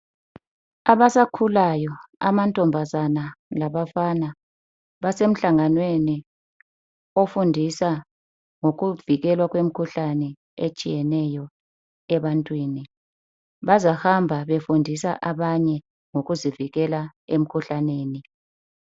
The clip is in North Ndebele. Abasakhulayo amantombazana labafana basemhlanganweni ofundisa ngokuvikelwa kwemkhuhlane etshiyeneyo ebantwini. Bazahamba befundisa abanye ngokuzivikela emkhuhlaneni.